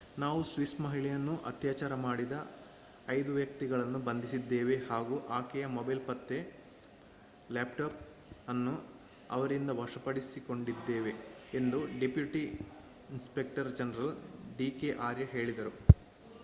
ನಾವು ಸ್ವಿಸ್ ಮಹಿಳೆಯನ್ನು ಅತ್ಯಾಚಾರ ಮಾಡಿದ 5 ವ್ಯಕ್ತಿಗಳನ್ನು ಬಂಧಿಸಿದ್ದೇವೆ ಹಾಗೂ ಆಕೆಯ ಮೊಬೈಲ್ ಮತ್ತೆ ಲ್ಯಾಪ್‍‌ಟಾಪ್ ಅನ್ನು ಅವರಿಂದ ವಶಪಡಿಸಿಕೊಂಡಿದ್ದೇವೆ ಎಂದು deputy inspector general DK Arya ಹೇಳಿದರು